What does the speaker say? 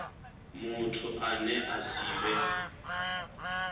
muthu ane a si vhe